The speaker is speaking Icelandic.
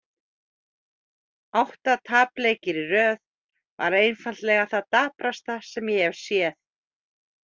Átta tapleikir í röð var einfaldlega það daprasta sem ég hef séð.